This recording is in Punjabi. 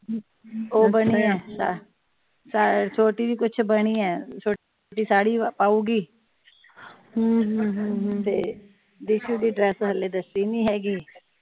ਉਹ ਬਣੀ ਏ ਛੋਟੀ ਵੀ ਕੁਝ ਬਣੀ ਏ ਛੋਟੀ ਸਾੜੀ ਪਾਊਗੀ ਤੇ ਦੀਸ਼ੁ ਦੀ ਡਰੈੱਸ ਹਲੇ ਦਿਤੀ ਨਹੀਂ ਹੇਗੀ।